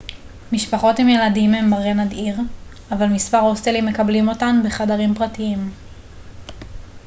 משפחות עם ילדים הם מראה נדיר אבל מספר הוסטלים מקבלים אותן בחדרים פרטיים